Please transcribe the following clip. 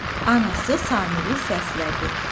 Anası Samiri səslədi.